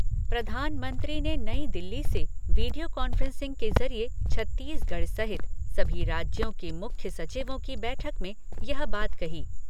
प्रधानमंत्री ने नई दिल्ली से वीडियो कॉन्फ़्रेंसिंग के ज़रिये छत्तीसगढ़ सहित सभी राज्यों के मुख्य सचिवों की बैठक में यह बात कही।